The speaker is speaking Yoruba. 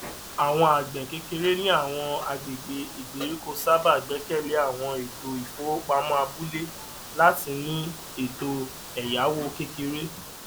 àwọn àgbẹkékeré ní àwọn àgbègbè ìgbèríko sábà gbẹkẹlé àwọn ètò ìfowopamọ abúlé láti ní ètò èyáwó kékeré